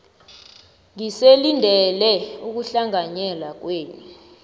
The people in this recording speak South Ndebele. ngisalindele ukuhlanganyela kwenu